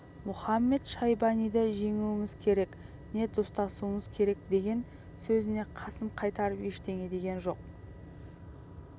мұхамед-шайбаниді жеңуіміз керек не достасуымыз керекдеген сөзіне қасым қайтарып ештеңе деген жоқ